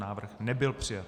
Návrh nebyl přijat.